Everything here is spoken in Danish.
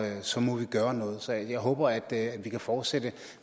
have så må vi gøre noget så jeg håber at vi kan fortsætte